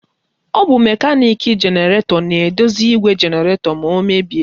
Ọ bụ mekaniki jenaratọ na-edozi igwe jenaratọ ma o mebie.